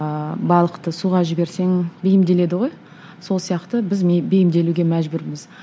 ыыы балықты суға жіберсең бейімделеді ғой сол сияқты біз бейімделуге мәжбүрміз